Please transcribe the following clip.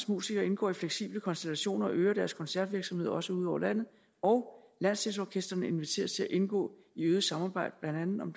musikere indgår i fleksible konstellationer og øger deres koncertvirksomhed også ud over landet og landsdelsorkestrene inviteres indgå i et øget samarbejde blandt andet om